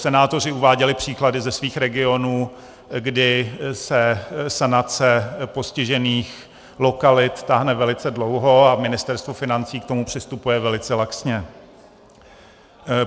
Senátoři uváděli příklady ze svých regionů, kdy se sanace postižených lokalit táhne velice dlouho a Ministerstvo financí k tomu přistupuje velice laxně.